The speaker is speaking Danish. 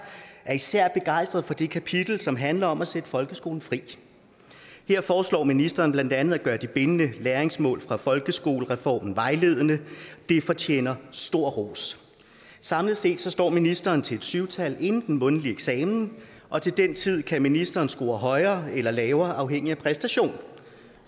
er især begejstret for det kapitel som handler om at sætte folkeskolen fri her foreslår ministeren blandt andet at gøre de bindende læringsmål fra folkeskolereformen vejledende og det fortjener stor ros samlet set står ministeren til et syv tal inden den mundtlige eksamen og til den tid kan ministeren score højere eller lavere afhængigt af præstationen